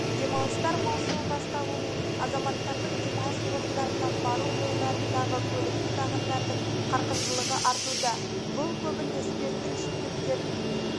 демалыстар маусымы басталуымен азаматтардың демалыс орындарына бару жолдарындағы көліктік ағындардың қарқындылығы артуда бұл көбіне спирттік ішімдіктер